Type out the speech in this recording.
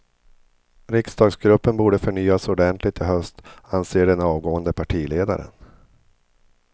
Riksdagsgruppen borde förnyas ordentligt i höst, anser den avgående partiledaren.